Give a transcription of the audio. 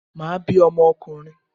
Màá bí ọmọ okùnrin